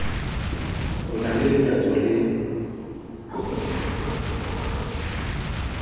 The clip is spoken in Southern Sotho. o na le lenyatso le